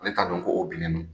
Ale t'a dɔn ko o binnen don